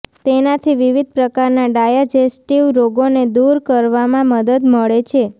તેનાથી વિવિધ પ્રકારના ડાયજેસ્ટિવ રોગોને દૂર કરવામાં મદદ મળે છે